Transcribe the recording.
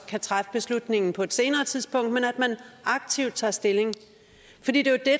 kan træffe beslutningen på et senere tidspunkt men at man aktivt tager stilling til det det